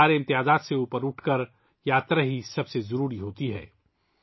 ہر طرح کی تفریق سے اوپر اٹھ کر، یاترا ہی سب سے مقدم ہوتی ہے